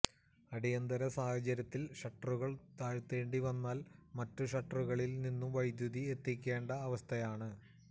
അടിയന്തര സാഹചര്യത്തിൽ ഷട്ടറുകൾ താഴ്ത്തേണ്ടി വന്നാൽ മറ്റു ഷട്ടറുകളിൽ നിന്നു വൈദ്യുതി എത്തിക്കേണ്ട അവസ്ഥയാണ്